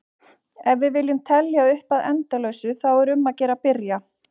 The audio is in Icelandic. Ef við viljum telja upp að endalausu þá er um að gera að byrja!